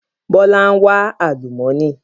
Bọlá ń wa àlùmọ́nì